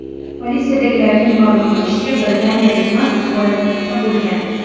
Politsiyadagilarning ma’lum qilishicha, britaniyalik mast holatda bo‘lgan.